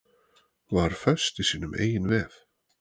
Var föst í sínum eigin vef